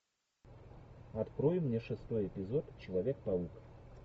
открой мне шестой эпизод человек паук